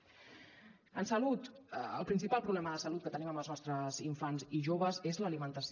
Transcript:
en salut el principal problema de salut que tenim amb els nostres infants i joves és l’alimentació